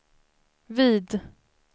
vid